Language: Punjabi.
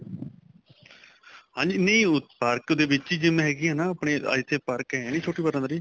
ਹਾਂਜੀ ਨਹੀਂ park ਦੇ ਵਿੱਚ ਹੀ GYM ਹੈਗੀ ਹੈ ਨਾ ਆਪਣੇ ਆ ਇੱਥੇ ਪਾਰਕ ਹੈਨੀ ਛੋਟੀ ਬਰਾਦਰੀ